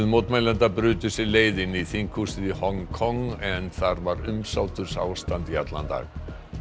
mótmælenda brutu sér leið inn í þinghúsið í Hong Kong en þar var umsátursástand í allan dag